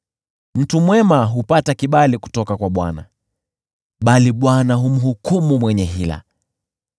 Mtu mwema hupata kibali kutoka kwa Bwana , bali Bwana humhukumu mwenye hila.